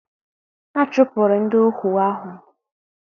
A chụpụrụ ndị ohu ahụ.